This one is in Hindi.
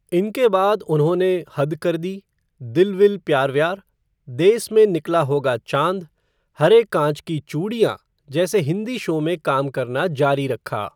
इनके बाद उन्होंने हद कर दी, दिल विल प्यार व्यार, देस में निकला होगा चाँद, हरे काँच की चूड़ियाँ जैसे हिंदी शो में काम करना जारी रखा।